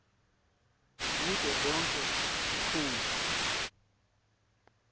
kuto tonkhe tinkhundla